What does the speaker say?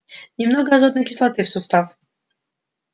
немного азотной кислоты в сустав